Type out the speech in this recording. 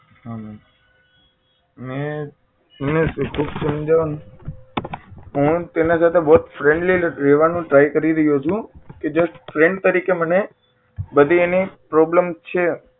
હા મેં મેં અને તે ખુબ સમજાવું ને હું તેના સાથે બહુ જ friendly રહેવાનો try કરી રહ્યો છું કે જો friend તરીકે મને બધી એની problem છે